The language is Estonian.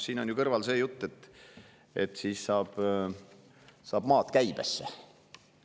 Siin on kõrval ju see jutt, et siis saab maad käibesse.